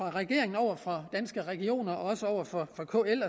er regeringen over for danske regioner og over for kl